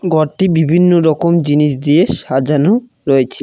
ঘরটি বিভিন্নরকম জিনিস দিয়ে সাজানো রয়েছে।